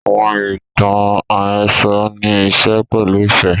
Àwọn ìtàn àhésọ nì ìṣe pẹ̀lu ifẹ